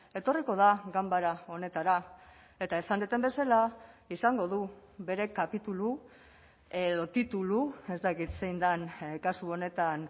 etorriko da ganbara honetara eta esan dudan bezala izango du bere kapitulu edo titulu ez dakit zein den kasu honetan